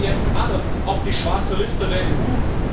Kommen die jetzt alle auf die schwarze Liste der